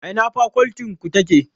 A ina fakoltin ku take?